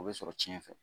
O bɛ sɔrɔ ciɲɛ fɛ